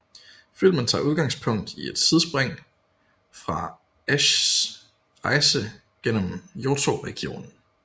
Filmen tager udgangspunkt i et sidspring fra Ashs rejse gennem Johto regionen